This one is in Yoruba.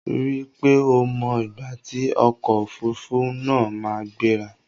Rí i pé o mọ ìgbà tí ọkò òfurufú náà máa gbéra!